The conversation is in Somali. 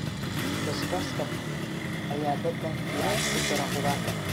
Basbaaska basbaaska ayaa dhadhan fiican ku dara khudaarta.